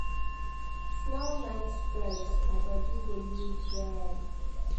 small night stretch my body go loose well.